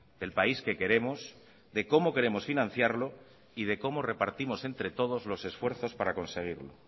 del país que queremos de cómo queremos financiarlo y de cómo repartimos entre todos los esfuerzos para conseguirlo